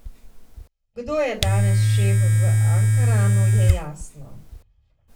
Kdo je danes šef v Ankaranu, je jasno.